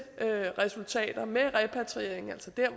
resultater med repatriering altså der